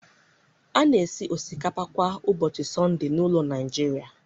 A na-esi osikapa kwa ụbọchị Sọnde n'ụlọ Nigeria